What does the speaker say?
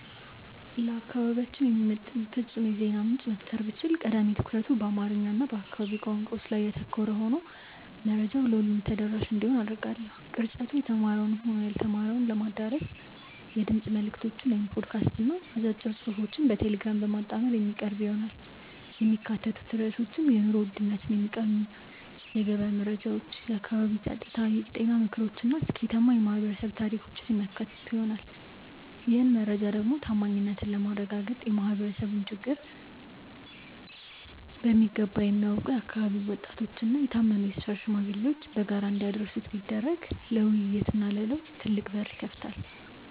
ለአካባቢያችን የሚመጥን ፍጹም የዜና ምንጭ መፍጠር ብችል፣ ቀዳሚ ትኩረቱ በአማርኛ እና በአካባቢው ቋንቋዎች ላይ ያተኮረ ሆኖ መረጃው ለሁሉም ተደራሽ እንዲሆን አደርጋለሁ። ቅርጸቱ የተማረውንም ሆነ ያልተማረውን ለማዳረስ የድምፅ መልዕክቶችን (ፖድካስት) እና አጫጭር ጽሑፎችን በቴሌግራም በማጣመር የሚቀርብ ይሆናል። የሚካተቱት ርዕሶችም የኑሮ ውድነትን የሚቃኙ የገበያ መረጃዎች፣ የአካባቢ ጸጥታ፣ የጤና ምክሮች እና ስኬታማ የማኅበረሰብ ታሪኮችን የሚያካትቱ ይሆናል። ይህን መረጃ ደግሞ ታማኝነትን ለማረጋገጥ የማኅበረሰቡን ችግር በሚገባ የሚያውቁ የአካባቢው ወጣቶችና የታመኑ የሰፈር ሽማግሌዎች በጋራ እንዲያደርሱት ቢደረግ ለውይይትና ለለውጥ ትልቅ በር ይከፍታል።